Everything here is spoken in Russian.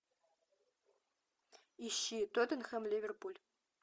ищи тоттенхэм ливерпуль